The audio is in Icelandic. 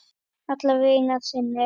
Alla vega að sinni.